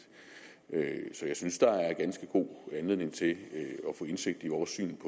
så jeg synes at der er ganske god anledning til at få indsigt i vores syn